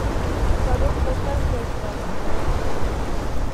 салют поставь кэш бэнг